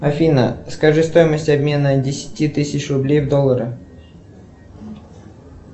афина скажи стоимость обмена десяти тысяч рублей в доллары